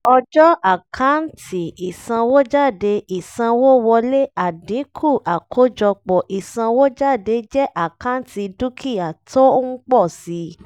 ọjọ́ àkáǹtì ìsanwójádé ìsanwówọlé àdínkù àkọ́jọpọ̀ ìsanwójádé jẹ́ àkáǹtì dúkìá tó ń pọ̀ si